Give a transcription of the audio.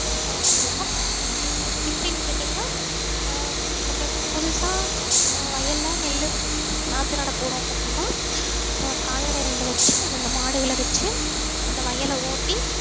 விவசாயம் கண்டிப்பா பண்ண முடியும் எப்படின்னு கேட்டீங்கன்னா ஆஹ் நம்ம புதுசா ஆஹ் வயல்ல நெல்லு நாத்து நட போறோம் அப்படின்னா ஆஹ் கால்நடை ரெண்டு வச்சு இரண்டு மாடுகளை வச்சு அந்த வயலை ஓட்டி